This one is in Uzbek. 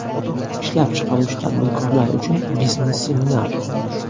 Ishlab chiqaruvchi tadbirkorlar uchun biznes seminar!